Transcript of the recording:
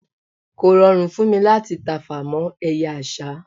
kò rọrùn fún mí láti tafà mọ eye àsá